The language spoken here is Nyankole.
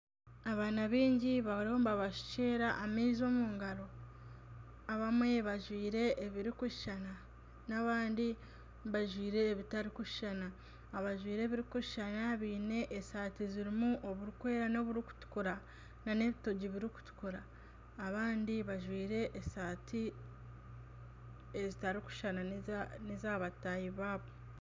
Abaana baingi bariyo nibabashukyera amaizi omu ngaro, abamwe bajwire ebirikushushana n'abandi bajwire ebitarikushushana, abajwire ebirikushushana bajwire esaati ezirimu oburikwera n'oburikutukura nana ebitogi birikutukura abandi bajwire esaati ezitarikushushana n'eza bataahi baabo